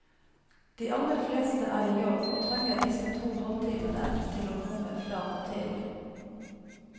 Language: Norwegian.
De aller fleste er i jobb og trenger disse to halvtimene til å komme fra og til.